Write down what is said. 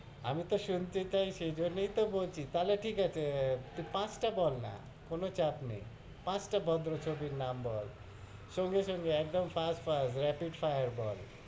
আমি তহ শুনতে চাইছি, সেই জন্য়ই তো বলছি তাহলে ঠিক আছে তুই পাঁচটা বল না কোনো চাপ নেই পাঁচটা ভদ্র ছবির নাম বল সঙ্গে সঙ্গে, একদম fast fast, rapid fire বল,